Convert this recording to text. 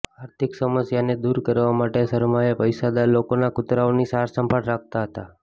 આર્થિક સમસ્યાને દૂર કરવા માટે શર્માએ પૈસાદાર લોકોના કૂતરાઓની સારસંભાળ રાખતા હતાં